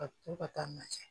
Ka to ka taa n'a ye